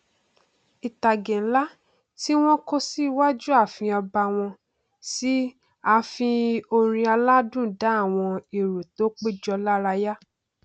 ìtàgé nlá tí wọn kọ síwájú àfìn ọba wọn sì n fi orin aládùn dá àwọn erò tó péjọ lárayá